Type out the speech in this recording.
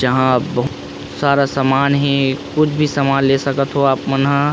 जहाँ बहुत सारा सामान हे कुछ भी सामान ले सकत थो आप मन हा।